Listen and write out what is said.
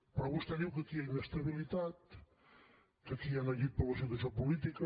però vostè diu que aquí hi ha inestabilitat que aquí hi ha neguit per la situació política